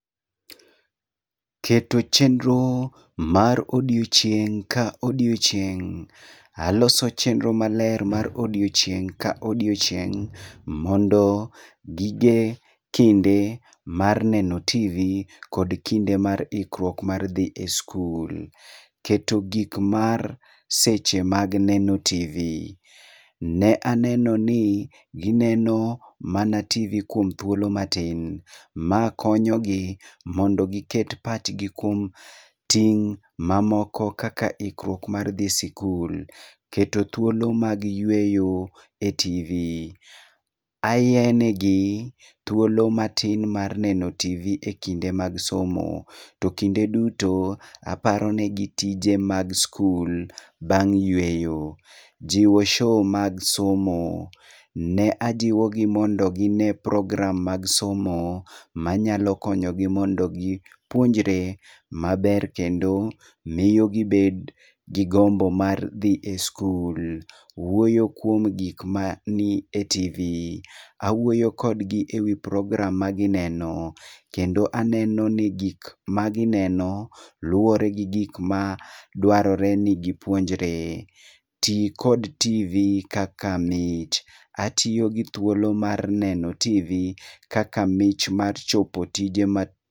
Keto chenro mar odiochieng' ka odiochieng'. Aloso chenro maler mar odiochieng' ka odiochieng' mondo gige kinde mar neno TV kod kinde mar ikruok mar dhi e skul. Keto gik mar seche mag neno TV. Ne aneno ni gineno mana TV kuom thuolo matin. Ma konyo gi mondo giket pachgi kuom ting' mamoko kaka ikruok mar dhi sikul, keto thuolo mag yueyo e TV. Ayie negi thuolo matin mar neno TV e kinde mag somo, to kinde duto aparo negi tije mag skul bang' yueyo. Jiwo show mag somo- ne ajiwo gi mondo ginee program mag somo ma nyalo konyo gi mondo gipuonjre maber kendo miyo gibed gi gombo mar dhi e skul. Wuoyo kuom gik ma ni e TV. Awuoyo kodgi e wii program ma gineno, kendo aneno ni gik ma gineno luore gi gik ma dwarore ni gipuonjre. Tii kod TV kaka mich. Atiyo gi thuolo mar neno TV kaka mich mar chopo tije ma...